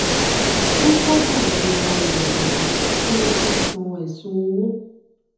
ó sábà ru arìnrìnàjò tí wọn fẹ san ẹsùn owó